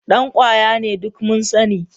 Dan kwaya ne, duk mun sani